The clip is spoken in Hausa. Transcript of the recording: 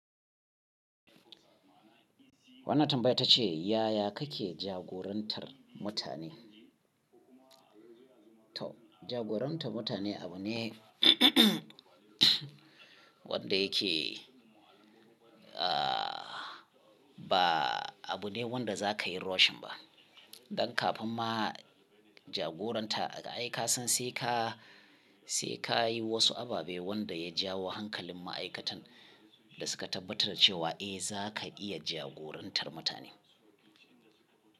Wannan tambaya ita ce, yaya kake jagorantar mutane? To jagorantar mutane abu ne wanda yake, ah ba abu ne wanda za ka yi rashin ba. Dan kafin ma jagoranta, ai ka san sai ka, sai ka yi wasu ababe wanda ya jawo hankalin ma'aikatan da suka tabbatar da cewa eh za ka iya jagorantar mutane.